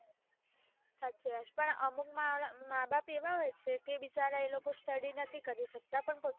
સાચી વાત પણ અમુક મા બાપ એવા હોઈ છે કે બિચારા એ લોકો study નથી કરી શકતા પણ